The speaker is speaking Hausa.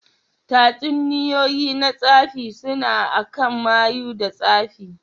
Tatsuniyoyi na tsafi suna akan mayu da tsafi.